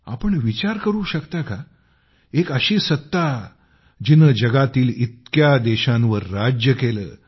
आपण विचार करू शकता का एक अशी सत्ता जिने जगातील इतक्या देशांवर राज्य केले